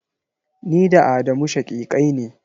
Ni da Amadu shaƙiƙai ne.